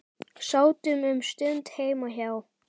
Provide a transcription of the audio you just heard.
Sátum um stund heima hjá